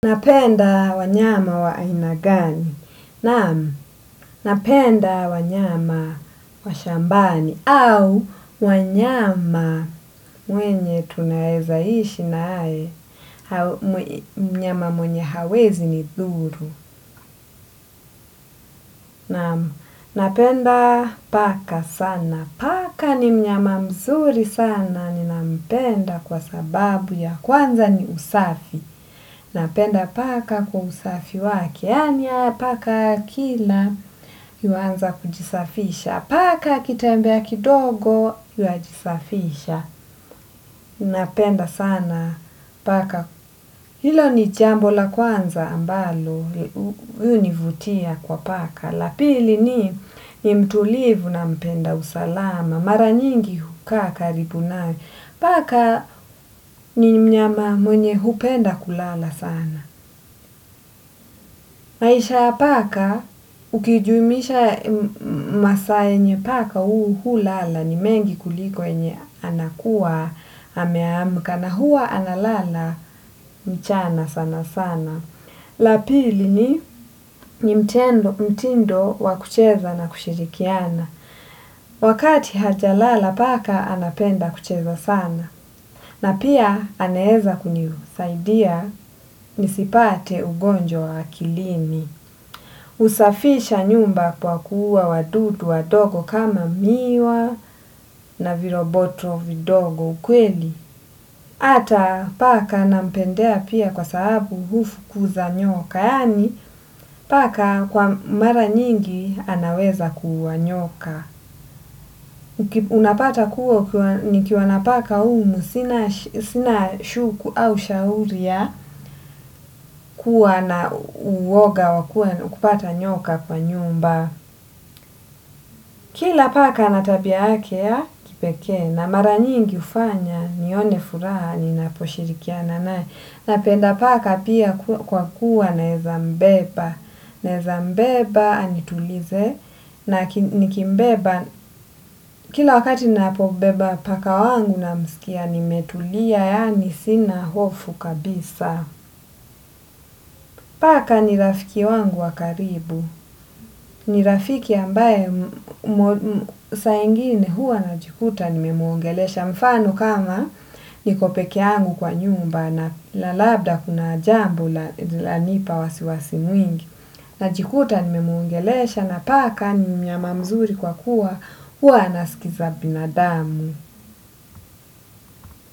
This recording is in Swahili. Napenda wanyama wa aina gani? Naam, napenda wanyama wa shambani au wanyama wenye tunaweza ishi naye. Mnyama mwenye hawezi ni dhuru. Naam, napenda paka sana. Paka ni mnyama mzuri sana. Ninampenda kwa sababu ya kwanza ni usafi. Napenda paka kwa usafi wake Kiana, paka kila, yuanza kujisafisha. Paka kitembea kidogo, yuajisafisha. Napenda sana paka. Hilo ni jambo la kwanza ambalo hunivutia kwa paka. La pili ni mtulivu na mpenda usalama. Mara nyingi hukaa karibu naye. Paka ni mnyama mwenye hupenda kulala sana. Maisha ya paka ukijumuisha masaa yenye paka hulala ni mengi kuliko uenye anakuwa ameamka na huwa analala mchana sana sana. La pili ni mtindo wa kucheza na kushirikiana. Wakati ata lala paka anapenda kucheza sana. Na pia anaweza kunisaidia nisipate ugonjwa wa kilini. Husafisha nyumba kwa kuuwa wadudu wadogo kama miwa na viroboto vidogo ukweli. Hatta paka nampendea pia kwa sababu hufukuza nyoka. Yaani paka kwa mara nyingi anaweza ku ua nyoka. Unapata kuwa nikiwa na paka humu sina shuku au shauri ya kuwa na uwoga wa kupata nyoka kwa nyumba. Kila paka ana tabia yake ya kipekee na mara nyingi hufanya nione furaha ninaposhirikiana naye. Napenda paka pia kwa kuwa naweza mbeba. Naweza mbeba anitulize na nikimbeba kila wakati ninapo beba paka wangu namsikia nimetulia yaani sina hofu kabisa. Paka ni rafiki wangu wa karibu. Ni rafiki ambaye sa ingine huwa najikuta nimemuongelesha mfano kama niko peke yangu kwa nyumba na labda kuna jambo lanipa wasiwasi mwingi. Najikuta nimemuongelesha na paka ni mnyama mzuri kwa kuwa huwa anasikiza binadamu.